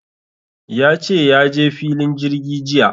Ya ce ya je filin jirgi jiya.